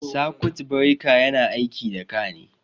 Sakut bireka yana aiki da ka ne